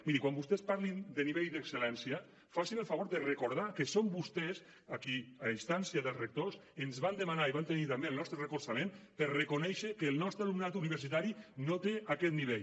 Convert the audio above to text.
miri quan vostès parlin de nivell d’excel·lència facin el favor de recordar que són vostès qui a instància dels rectors ens van demanar i van tenir també el nostre recolzament per reconèixer que el nostre alumnat universitari no té aquest nivell